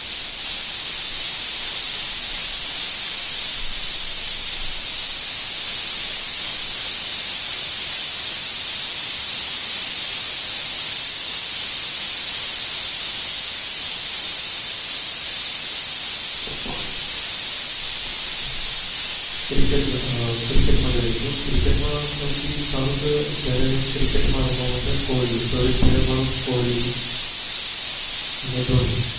Cricket માં સૌથી સારું છે અત્યારે cricket રમવા માં છે કોહલી અને ધોની.